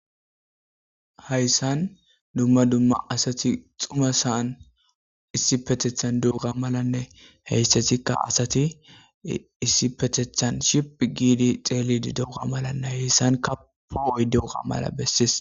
Heyssan dumma dumma asati xuma saan issipetethan dugga malanne heyssatikka asati issi petethan ship giidi xeelidi douga malanne heyssan kapo oy duuga mala bessis.